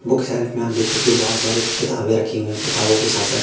book shelf मैं आप देख सकते हो बहोत सारी किताबें रखी हुई हैं किताबों के साथ साथ--